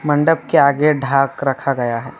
मंडप के आगे ढाक रखा गया है।